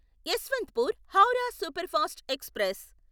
Yesvantpur Howrah superfast express